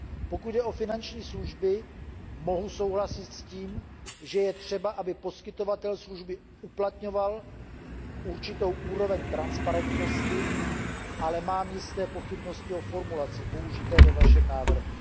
Pokud jde o finanční služby, mohu souhlasit s tím, že je třeba, aby poskytovatel služby uplatňoval určitou úroveň transparentnosti, ale mám jisté pochybnosti o formulaci použité ve vašem návrhu.